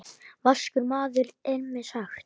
Vaskur maður er mér sagt.